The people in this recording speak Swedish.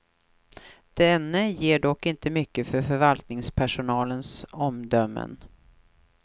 Denne ger dock inte mycket för förvaltningspersonalens omdömen.